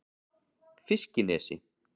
Fiskinesi